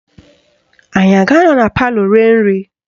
Anyị a ga-anọ na palọ rie nri?